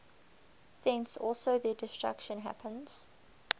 thence also their destruction happens